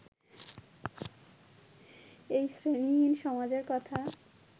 এই শ্রেণীহীন সমাজের কথা